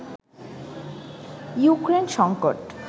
Ukraine সংকট